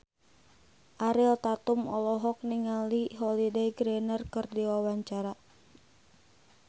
Ariel Tatum olohok ningali Holliday Grainger keur diwawancara